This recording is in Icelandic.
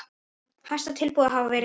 Hæsta tilboði hafi verið tekið.